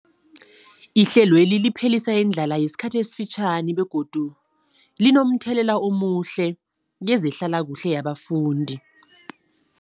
Ihlelweli liphelisa indlala yesikhathi esifitjhani begodu linomthelela omuhle kezehlalakuhle yabafundi.